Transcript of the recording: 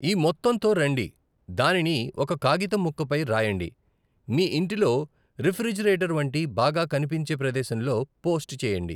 ఈ మొత్తంతో రండి, దానిని ఒక కాగితం ముక్కపై రాయండి, మీ ఇంటిలో రిఫ్రిజిరేటర్ వంటి బాగా కనిపించే ప్రదేశంలో పోస్ట్ చేయండి.